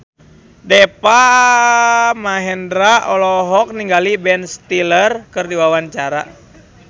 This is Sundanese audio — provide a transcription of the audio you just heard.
Deva Mahendra olohok ningali Ben Stiller keur diwawancara